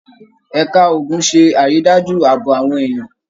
Ẹ̀ka ogun ṣé àrídájú ààbò àwọn èèyàn.